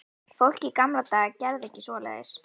Fólk í gamla daga gerði ekki svoleiðis.